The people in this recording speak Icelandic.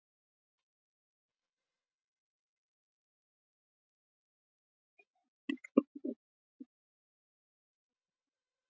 Hvers vegna blöskraði þér?